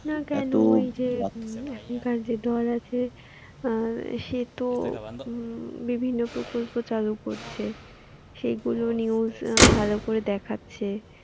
না কেন এত যে এখনকার যে দল আছে অ্যাঁ সে তো হম বিভিন্ন প্রকল্প চালু করছে। সেগুলো news ভালো করে দেখাচ্ছে